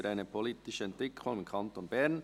Für eine politische Entwicklung im Kanton Bern».